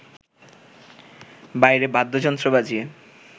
বাইরে বাদ্যযন্ত্র বাজিয়ে